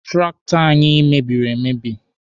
Traktọ anyị mebiri emebi.